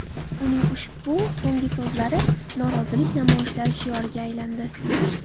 Uning ushbu so‘nggi so‘zlari norozilik namoyishlari shioriga aylandi.